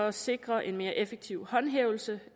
at sikre en mere effektiv håndhævelse